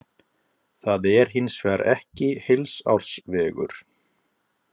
Það er hins vegar ekki heilsársvegur.